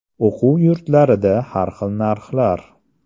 O‘quv yurtlarida har xil narxlar.